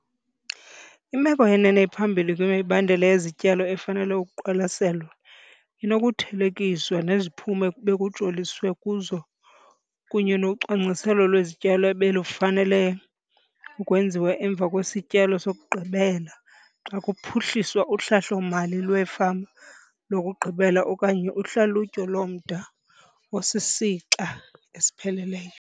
Imeko yenene ephambili kwimibandela yezityalo efanele ukuqwalaselwa inokuthelekiswa neziphumo ebekujoliswe kuzo kunye nocwangciselo lwezityalo obelufanele ukwenziwa emva kwesityalo sokugqibela xa kuphuhliswa uhlahlo-mali lwefama lokugqibela okanye uhlalutyo lomda osisixa esipheleleyo.